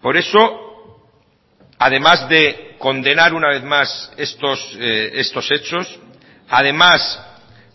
por eso además de condenar una vez más estos hechos además